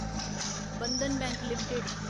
Bandhan bank limited